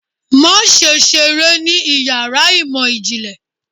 Maṣe ṣere ní iyàrá imọ jinlẹ!